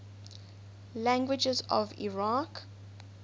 languages of iraq